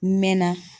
N mɛɛnna